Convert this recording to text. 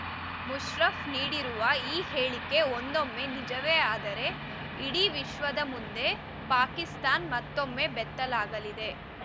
ಮುಷರಫ್ ನೀಡಿರುವ ಈ ಹೇಳಿಕೆ ಒಂದೊಮ್ಮೆ ನಿಜವೇ ಆದರೆ ಇಡೀ ವಿಶ್ವದ ಮುಂದೆ ಪಾಕಿಸ್ತಾನ್ ಮತ್ತೊಮ್ಮೆ ಬೆತ್ತಲಾಗಲಿದೆ